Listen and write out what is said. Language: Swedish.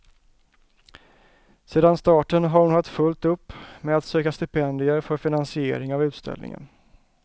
Sedan starten har hon haft fullt upp med att söka stipendier för finansiering av utställningen.